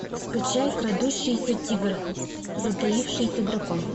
скачай крадущийся тигр затаившийся дракон